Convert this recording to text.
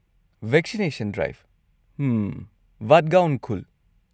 Vaccination ꯗ꯭ꯔꯥꯏꯕ, ꯍꯝ, ꯕꯔꯒꯥꯎꯟ ꯈꯨꯜ꯫